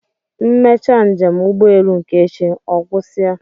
M mechaa njem ụgbọelu nke echi, ọ gwụsị a